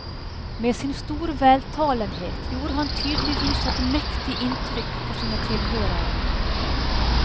Med sin store veltalenhet gjorde han tydeligvis et mektig inntrykk på sine tilhørere.